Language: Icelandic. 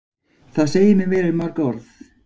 Það segir mér meira en mörg orð.